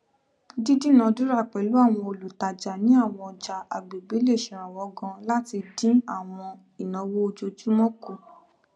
dídúnaadúrà pẹlú àwọn olùtajà ní àwọn ọjà àgbègbè le ṣèrànwọ ganan láti dín àwọn ìnáwó ojoojúmọ kù